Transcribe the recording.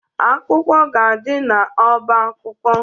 Akwụkwọ ga-adị n'ọba akwụkwọ.